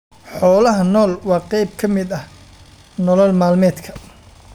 Xoolaha nool waa qayb ka mid ah nolol maalmeedka.